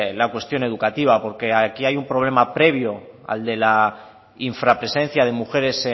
la cuestión educativa porque aquí hay un problema previo al de la infrapresencia de mujeres